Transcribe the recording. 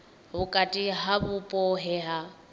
vhukati ha vhupo he ha